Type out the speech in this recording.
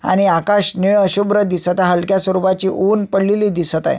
आणि आकाश नीळ शुभ्र दिसत हाय हलक्या स्वरूपाचे उन्ह पडलेले दिसत अय.